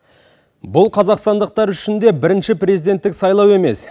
бұл қазақстандықтар үшін де бірінші президенттік сайлау емес